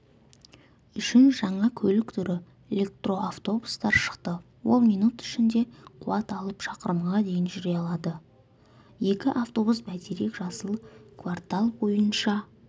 үшін жаңа көлік түрі электроавтобустар шықты ол минут ішінде қуат алып шақырымға дейін жүре алады екі автобус бәйтерек жасыл квартал бойынша